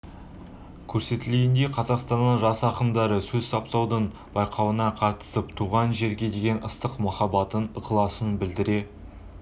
көрсетілгенедй қазақстанның жас ақындары сөз саптаудың байқауына қатысып туған жерге деген ыстық махаббатын ықыласын білдіре